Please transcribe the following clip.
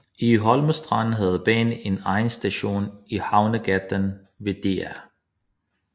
I Holmestrand havde banen en egen station i Havnegaten ved Dr